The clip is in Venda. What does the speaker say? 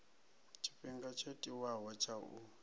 tshifhinga tsho tiwaho tsha u